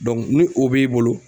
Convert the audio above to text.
ni o b'i bolo